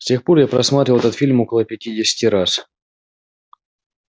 с тех пор я просматривал этот фильм около пятидесяти раз